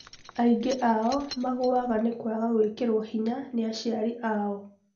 Aingĩ o-nao magũaga nĩ kwaga gũĩkĩrwo hinya nĩ aciari ao.